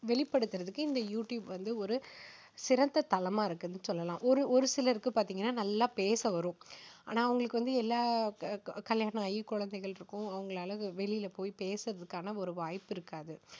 வெளிப்படுத்துறதுக்கு இந்த YouTube வந்து ஒரு சிறந்த தளமா இருக்குன்னு சொல்லலாம். ஒரு ஒரு சிலருக்கு பாத்தீங்கன்னா நல்லா பேச வரும். ஆனா, அவங்களுக்கு வந்து எல்லா க~கல்யாணமாகி குழந்தைகள் இருக்கும். அவங்களால வெளியில போய் பேசறதுக்கான ஒரு வாய்ப்பு இருக்காது.